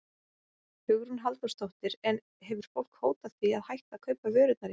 Hugrún Halldórsdóttir: En hefur fólk hótað því að hætta að kaupa vörurnar ykkar?